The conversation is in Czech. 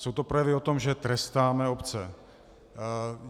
Jsou to projevy o tom, že trestáme obce.